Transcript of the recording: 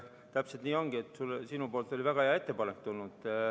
Täpselt nii ongi, sinult oli väga hea ettepanek tulnud.